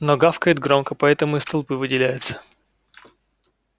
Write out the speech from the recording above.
но гавкает громко поэтому из толпы выделяется